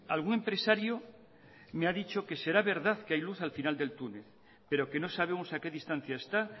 algún empresario me ha dicho que será verdad que hay luz al final del túnel pero que no sabemos a qué distancia está